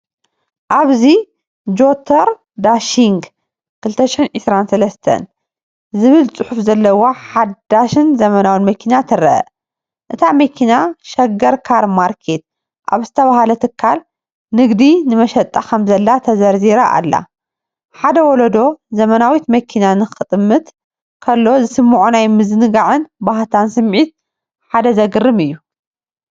ኣብዚ“ጀቶር ዳሺንግ 2023” ዝብል ጽሑፍ ዘለዋ ሓዳስን ዘመናውን መኪና ትርአ። እታ መኪና “ሸገር ካር ማርኬት” ኣብ ዝተባህለ ትካል ንግዲ ንመሸጣ ከምዘላ ተዘርዚራ ኣላ። ሓደ ወለዶ ዘመናዊት መኪና ክጥምት ከሎ ዝስምዖ ናይ ምዝንጋዕን ባህታን ስምዒት ሓደ ዘገርም እዩ።